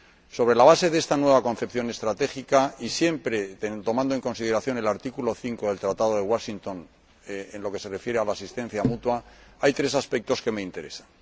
Sobre la base de esta nueva concepción estratégica y siempre tomando en consideración el artículo 5 del Tratado de Washington en lo que se refiere a la asistencia mutua, hay tres aspectos que me interesan.